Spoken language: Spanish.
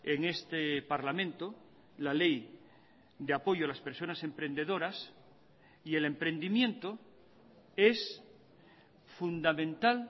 en este parlamento la ley de apoyo a las personas emprendedoras y el emprendimiento es fundamental